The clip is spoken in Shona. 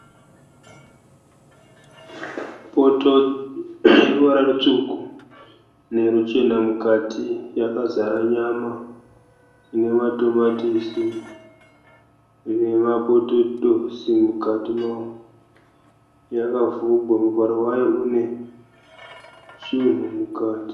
Poto ine ruvara rutsvuku neruchena mukati. Yakazara nyama ine matomatisi, ine mapotetosi mukati. Yakavhurwa, muvharo wayo une zvinhu mukati.